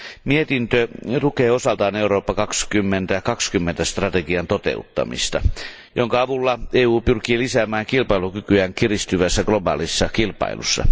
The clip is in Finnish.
Mietintö tukee osaltaan Eurooppa 2020 strategian toteuttamista, jonka avulla EU pyrkii lisäämään kilpailukykyään kiristyvässä globaalissa kilpailussa.